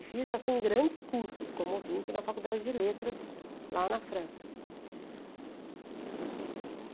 E fiz, assim, grandes cursos como ouvinte na Faculdade de Letras, lá na França.